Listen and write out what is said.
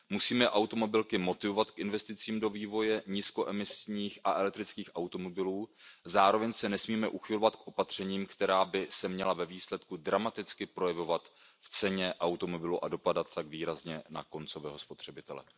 Musíme automobilky motivovat k investicím do vývoje nízkoemisních a elektrických automobilů, zároveň se nesmíme uchylovat k opatřením, která by se měla ve výsledku dramaticky projevovat v ceně automobilu a dopadat tak výrazně na koncového spotřebitele.